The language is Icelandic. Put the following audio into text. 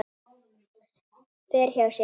Fer hjá sér.